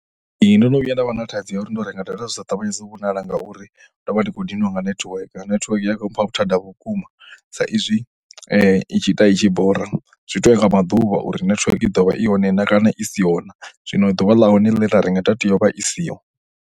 Ee, ndo no vhuya nda vha na thaidzo ya uri ndo renga data, data dzi sa ṱavhanye dzo vhonala ngauri ndo vha ndi khou ḓiniwa nga netiweke, netiweke ya khou mmpha vhuthada vhukuma saizwi i tshi ita i tshi bora. Zwi to ya nga maḓuvha uri netiweke i ḓo vha i hone na kana i siho na. Zwino ḓuvha ḽa hone ḽe nda renga data yo vha i siho.